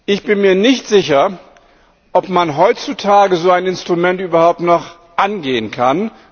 Ich bin mir nicht sicher, ob man heutzutage so ein Instrument überhaupt noch angehen kann.